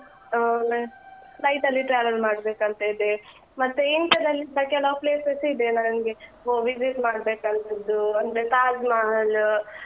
ಮತ್ತೆ flight ಅಲ್ಲಿ travel ಮಾಡ್ಬೇಕಂತ ಇದೆ, ಮತ್ತೆ India ದಲ್ಲಿಸ ಕೆಲವು places ಇದೆ ನನ್ಗೆ visit ಮಾಡ್ಬೇಕಂತದ್ದು ಅಂದ್ರೆತಾಜ್‌ ಮಹಲ್‌.